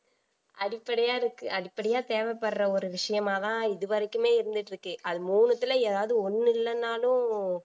அடிப்படையா இருக்கு அடிப்படையா தேவைப்படுற ஒரு விஷயமாதான் இதுவரைக்குமே இருந்துட்டிருக்கு அது மூணுத்துல ஏதாவது ஒண்ணு இல்லேன்னாலும்